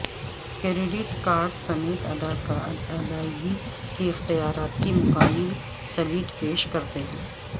credit card سمیت ادائیگی کے اختیارات کی مکمل سلیٹ پیش کرتے ہیں